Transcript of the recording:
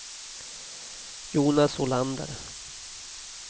Jonas Olander